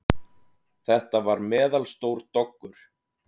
Þetta var meðalstór doggur.